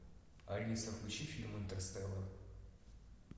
алиса включи фильм интерстеллар